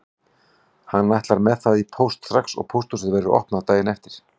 Hann ætlar með það í póst strax og pósthúsið verður opnað daginn eftir.